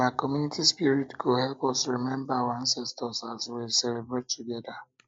na community spirit go help us remember our ancestors as as we celebrate together